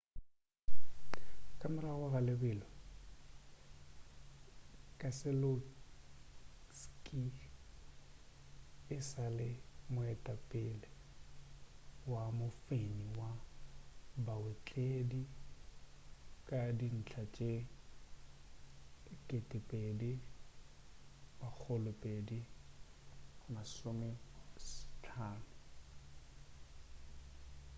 ka morago ga lebelo keseloski e sa le moetapele wa mofenyi wa baotledi ka dintlha tše 2,250